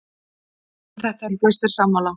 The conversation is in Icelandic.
Um þetta eru flestir sammála.